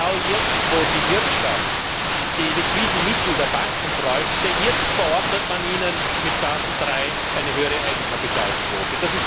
Genau jetzt, wo die Wirtschaft die liquiden Mittel der Banken bräuchte, verordnet man den Banken mit Basel III eine höhere Eigenkapitalquote.